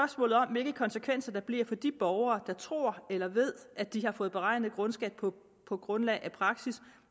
hvilke konsekvenser der bliver for de borgere der tror eller ved at de har fået beregnet grundskat på på grundlag af praksis